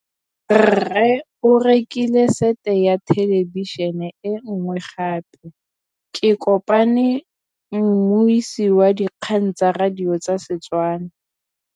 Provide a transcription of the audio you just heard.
Rre o rekile sete ya thêlêbišênê e nngwe gape. Ke kopane mmuisi w dikgang tsa radio tsa Setswana.